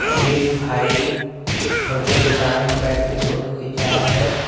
ये भाई बढ़ियाँ दुकान में बैठ के फोटो खिचाये है।